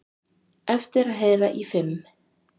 Eftir að heyra í fimm